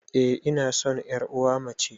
Eh ina san yar uwa mace